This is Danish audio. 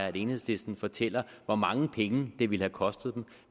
at enhedslisten fortæller hvor mange penge det ville have kostet dem